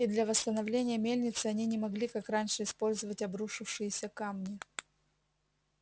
и для восстановления мельницы они не могли как раньше использовать обрушившиеся камни